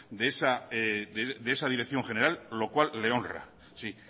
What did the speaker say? de esa dirección general lo cual le honra sí